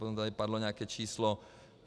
Potom tady padlo nějaké číslo.